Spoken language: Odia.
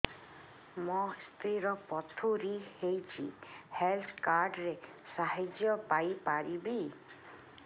ମୋ ସ୍ତ୍ରୀ ର ପଥୁରୀ ହେଇଚି ହେଲ୍ଥ କାର୍ଡ ର ସାହାଯ୍ୟ ପାଇପାରିବି